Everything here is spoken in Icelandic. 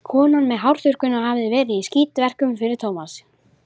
Konan með hárþurrkuna hafði þá verið í skítverkum fyrir Tómas.